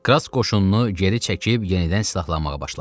Krass qoşununu geri çəkib yenidən silahlanmağa başladı.